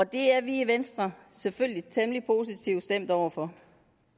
det er vi i venstre selvfølgelig temmelig positivt stemt over for